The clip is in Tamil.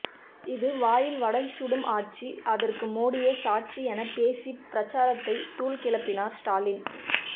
இது வாயில் வடை சுடும் ஆட்சி அதற்கு மோடியே சாட்சி என பேசி பிரச்சாரத்தை தூள் கிளப்பினார் ஸ்டாலின்